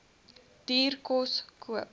duur kos koop